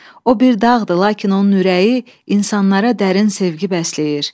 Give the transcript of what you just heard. O bir dağdır, lakin onun ürəyi insanlara dərin sevgi bəsləyir.